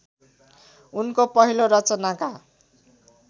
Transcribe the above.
उनको पहिलो रचनाका